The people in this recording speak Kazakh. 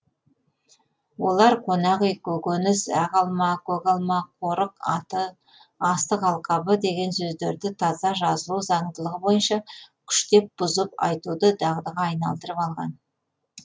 олар қонақ үй көкөніс ақ алма көк алма қорық аты астық алқабы деп сөздерді таза жазылу заңдылығы бойынша күштеп бұзып айтуды дағдыға айналдырып алған